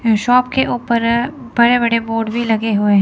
Shop के ऊपर बड़े बड़े बोर्ड भी लगे हुए है।